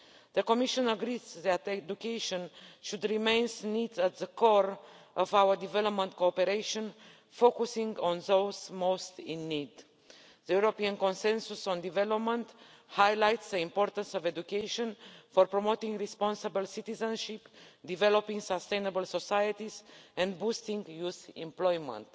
The Commission agrees that education should remain at the core of our development cooperation, focusing on those most in need. The European Consensus on Development highlights the importance of education for promoting responsible citizenship, developing sustainable societies and boosting youth employment.